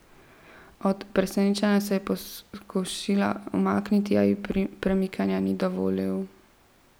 Od presenečenja se je poskušala umakniti, a ji premikanja ni dovolil.